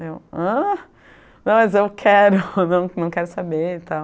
Daí, eu ãh? não, mas eu quero, não quero saber e tal.